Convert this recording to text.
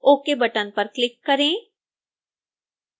ok button पर click करें